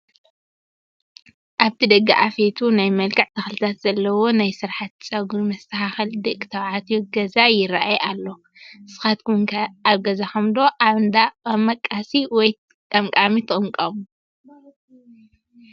ኣብቲ ደገ ኣፌቱ ናይ መልክዕ ተኽልታት ዘለዎ ናይ ስራሕቲ ፀጉሪ መስተኻኸሊ ደቂ ተባዕትዮ ገዛ ይራኣይ ኣሎ፡፡ ንስኻትኩም ከ ኣብ ገዛኹም ዶ ኣብ እንዳ መቃሲ /ቀምቃሚ ትቕመቀሙ?